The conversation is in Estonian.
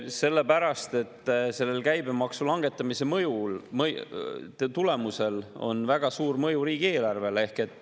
Sellepärast, et selle käibemaksu langetamisel on väga suur mõju riigieelarvele.